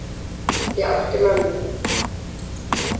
Ég átti mömmu.